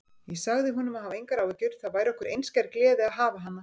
Ég sagði honum að hafa engar áhyggjur, það væri okkur einskær gleði að hafa hana.